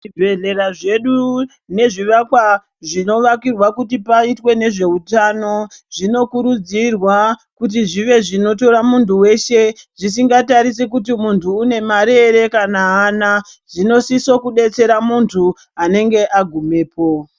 Zvibhedhlera zvedu nezvivakwa zvinovakirwa kuti paite nezveutano zvinokurudzirwa kuti zvive zvinotora mundu weshe zvisinga tarisi kuti mundu une mari here kana haana zvinosise kubetsera mundu anenge agumepo.